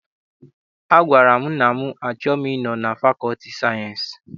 Agwara m nna m na achọghị m ịnọ na fakọlti sayensị.